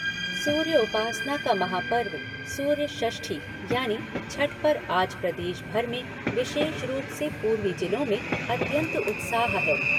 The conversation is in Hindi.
सूर्य उपासना का महापर्व सूर्य षष्ठी यानी छठ पर आज प्रदेश भर में विशेष रूप से पूर्वी जिलों में अत्यंत उत्साह है।